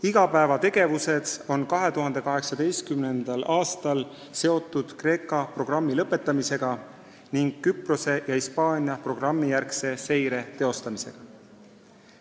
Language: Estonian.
Igapäevategevused on 2018. aastal seotud Kreeka programmi lõpetamisega ning Küprose ja Hispaania programmijärgse seirega.